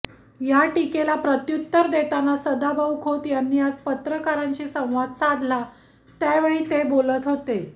या टीकेला प्रत्युत्तर देताना सदाभाऊ खोत यांनी आज पत्रकारांशी संवाद साधला त्यावेळी ते बोलत होते